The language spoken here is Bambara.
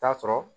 Taa sɔrɔ